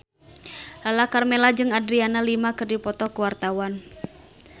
Lala Karmela jeung Adriana Lima keur dipoto ku wartawan